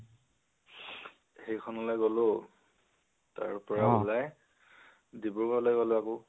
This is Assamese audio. সেইখনলৈ গলোঁ, তাৰপৰা ওলায় ডিব্ৰুগড় লৈ গলোঁ আকৌ